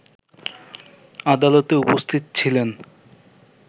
আদালতে উপস্থিত ছিলেন